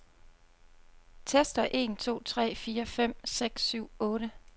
Tester en to tre fire fem seks syv otte.